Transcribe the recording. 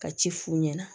Ka ci f'u ɲɛna